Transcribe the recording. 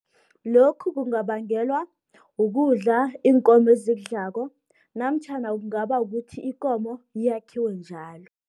Lokhu kungabangelwa ukudla iinkomo ezikudlako, namtjhana kungaba ukuthi ikomo iyakhiwa njalo.